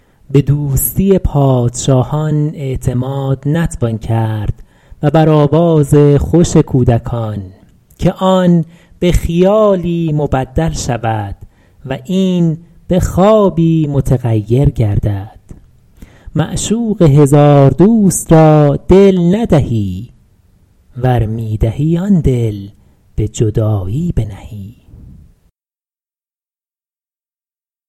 به دوستی پادشاهان اعتماد نتوان کرد و بر آواز خوش کودکان که آن به خیالی مبدل شود و این به خوابی متغیر گردد معشوق هزار دوست را دل ندهی ور می دهی آن دل به جدایی بنهی